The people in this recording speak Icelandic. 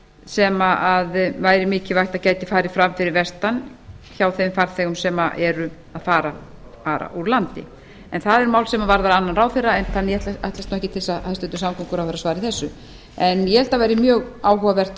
sem væri mikilvægt að gæti farið fram fyrir vestan hjá þeim farþegum sem eru að fara úr landi en það er mál sem varðar annan ráðherra en ég ætlast ekki til að hæstvirtur samgönguráðherra svari þessu en ég held að það væri mjög áhugavert